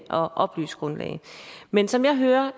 og oplyst grundlag men som jeg hører